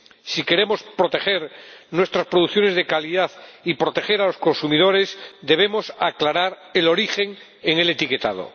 Si queremos proteger nuestras producciones de calidad y proteger a los consumidores, debemos aclarar el origen en el etiquetado.